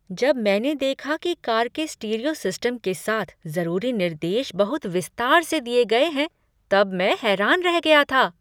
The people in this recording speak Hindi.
जब मैंने देखा कि कार के स्टीरियो सिस्टम के साथ जरूरी निर्देश बहुत विस्तार से दिये गए हैं तब मैं हैरान रह गया था।